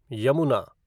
Yamuna